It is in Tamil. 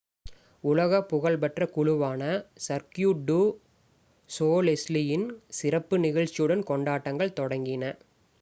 உலக புகழ்பெற்ற குழுவான சர்க்யூ டு சோலெய்லின் சிறப்பு நிகழ்ச்சியுடன் கொண்டாட்டங்கள் தொடங்கின